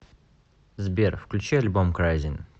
сбер включи альбом крайзин